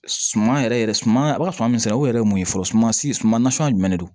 Suman yɛrɛ yɛrɛ suman a bɛ ka suma min sɛnɛ o yɛrɛ ye mun ye fɔlɔ suman si suma nasuguya jumɛn de don